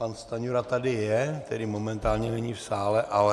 Pan Stanjura tady je, tedy momentálně není v sále, ale...